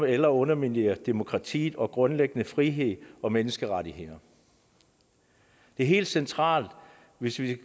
eller underminere demokratiet og grundlæggende friheds og menneskerettigheder det er helt centralt hvis vi